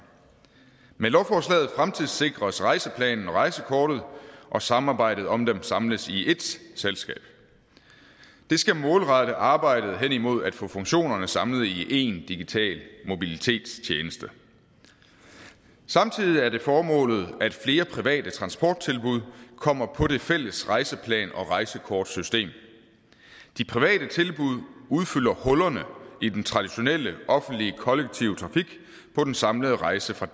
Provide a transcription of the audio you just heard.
med lovforslaget fremtidssikres rejseplanen og rejsekortet og samarbejdet om dem samles i ét selskab det skal målrette arbejdet hen imod at få funktionerne samlet en digital mobilitetstjeneste samtidig er det formålet at flere private transporttilbud kommer på det fælles rejseplan og rejsekortsystem de private tilbud udfylder hullerne i den traditionelle offentlige kollektive trafik på den samlede rejse fra